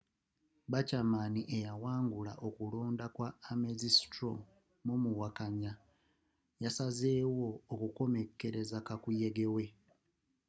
bachamann eyawangula okulonda ka ames straw mu muwakanya yasalawo okukomekkereza kakuyegewe